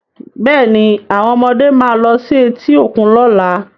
Bẹ́ẹ̀ ni, àwọn ọmọdé máa lọ sí etí òkun lọ́la.